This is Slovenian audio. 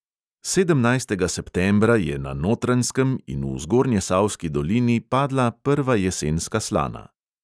Sedemnajstega septembra je na notranjskem in v zgornjesavski dolini padla prva jesenska slana.